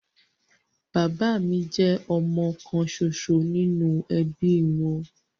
Bàbá mi jẹ́ ọmọ kan ṣoṣo nínú ẹbí wọn